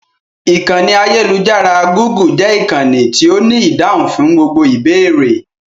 Ìkànnì ayélujára "Gúgù" jẹ́ ìkànnì tí ó ní ìdáhùn fún gbogbo ìbéèrè.